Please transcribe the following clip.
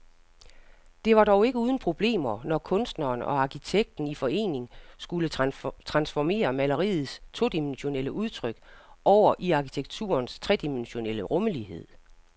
Det var dog ikke uden problemer, når kunstneren og arkitekten i forening skulle transformere maleriets todimensionelle udtryk over i arkitekturens tredimensionelle rumlighed.